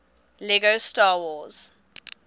lego star wars